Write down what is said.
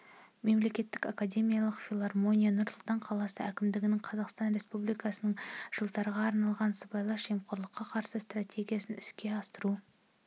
мемлекеттік академиялық филармония нұр-сұлтан қаласы әкімдігінің қазақстан республикасының жылдарға арналған сыбайлас жемқорлыққа қарсы стратегиясын іске асыру